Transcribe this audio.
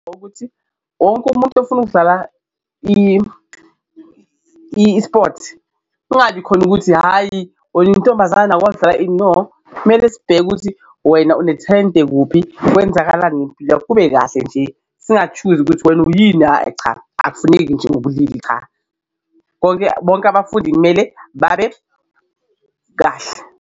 Ukuthi wonke umuntu ofuna ukudlala i-sport kungabi khona ukuthi, hhayi wena uyintombazane awukwazi ukudlala kumele sibheke ukuthi wena unethayente kuphi, kwenzakalani ngempilo yakho kube kahle nje singa-choose-i ukuthi wena uyini ayi cha akufuneki nje ngobulili cha, bonke bonke abafundi kumele babe kahle.